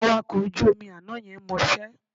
Awakọ̀ ojú omi àná yẹn mọṣẹ́